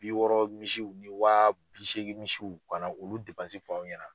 Bi wɔɔrɔ misiw ni waa bi seegin misiw, kana olu f'aw ɲɛna.